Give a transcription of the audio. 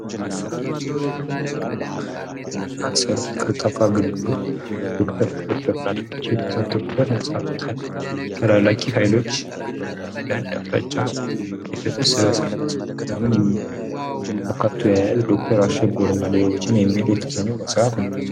ዶክተር አሸብርና ሌሎችም በሚል አር አስ የሚታወቀውና ተወድጅ የሆነው የመጽሃፍ ሽፋን ነው።